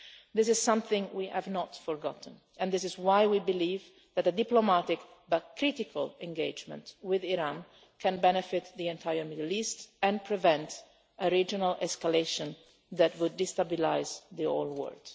solve. This is something we have not forgotten and this is why we believe that a diplomatic, but critical, engagement with Iran can benefit the entire Middle East and prevent a regional escalation that would destabilise the whole